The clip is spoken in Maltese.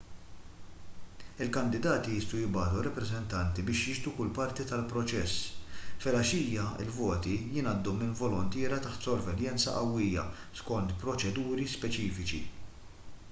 il-kandidati jistgħu jibagħtu rappreżentanti biex jixhdu kull parti tal-proċess filgħaxija il-voti jingħaddu minn voluntiera taħt sorveljanza qawwija skont proċeduri speċifiċi